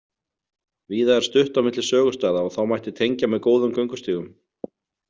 Víða er stutt á milli sögustaða og þá mætti tengja með góðum göngustígum.